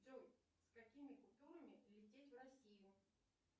джой с какими купюрами лететь в россию